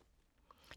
DR K